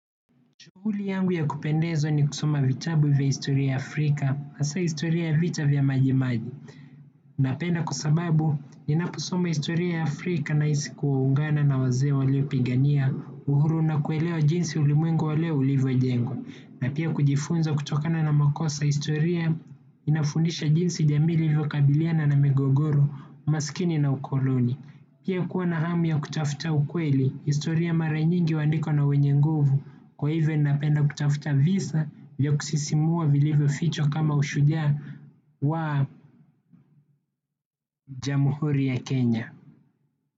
Shuhuli yangu ya kupendeza ni kusoma vitabu vya historia Afrika, hasa historia ya vita vya majimaji. Napenda kwa sababu ninaposoma historia ya Afrika nahisi kuungana na wazee waliopigania uhuru na kuelwa jinsi ulimwengu wa leo ulivyonjengwa na pia kujifunza kutokana na makosa ya historia inafundisha jinsi jamii ilivyokabiliana na migogoro, umasikini na ukoloni. Pia kuwa na hamu ya kutafuta ukweli historia mara nyingi huandikwa na wenye nguvu kwa hivyo ninapenda kutafuta visa vya kusisimua vilivyofochwa kama ushujaa wa jamhuri ya Kenya.